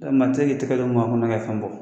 Yarɔ maa tɛ se ki Tɛgɛ don maa kunan ka fɛn bɔ.